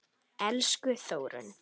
Elsku Þórunn.